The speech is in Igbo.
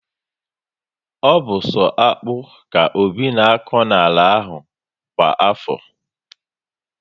Ọ bu so akpu ka Obi na akọ n'ala ahụ kwa afọ